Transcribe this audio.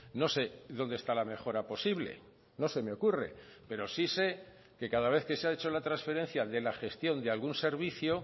no sé dónde está la mejora posible no se me ocurre pero sí sé que cada vez que se ha hecho la transferencia de la gestión de algún servicio